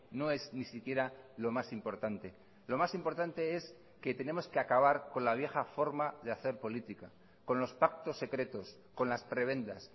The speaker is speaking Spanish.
no es ni siquiera lo más importante lo más importante es que tenemos que acabar con la vieja forma de hacer política con los pactos secretos con las prebendas